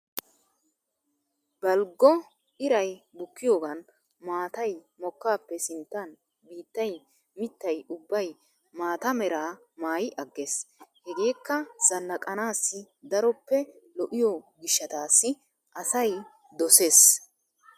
Balggo iray bukkiyoogan maatay mokkaappe sinttan biittay mittay ubbay maata meraa maayi aggees. Hegeekka zannaqanaassi daroppe lo'iyo gishshataassi asay doses.